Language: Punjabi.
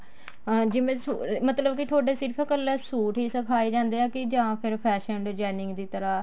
ਜਿਵੇਂ ਮਤਲਬ ਕੇ ਥੋਡੇ ਸਿਰਫ ਕੱਲਾ ਸੂਟ ਹੀ ਸਿਖਾਏ ਜਾਂਦੇ ਆ ਜਾਂ ਫ਼ੇਰ fashion designing ਦੀ ਤਰ੍ਹਾਂ